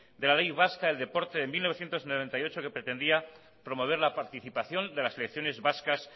de la ley vasca del deporte de mil novecientos noventa y ocho que pretendía promover la participación de las selecciones vascas